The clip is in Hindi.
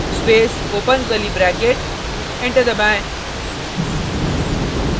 space open curly bracket enter दबाएँ